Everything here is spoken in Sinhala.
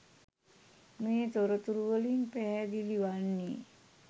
මේ තොරතුරුවලින් පැහැදිලි වන්නේ